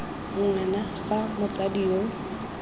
ng wana fa motsadi yo